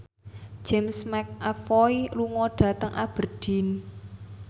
James McAvoy lunga dhateng Aberdeen